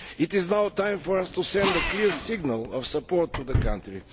It is now time for us to send a clear signal of support to the country.